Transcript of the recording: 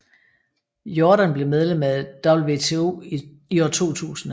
Jordan blev medlem af WTO i 2000